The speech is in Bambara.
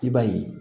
I b'a ye